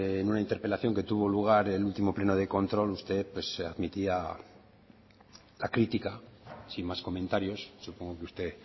en una interpelación que tuvo lugar en el último pleno de control usted admitía la crítica sin más comentarios supongo que usted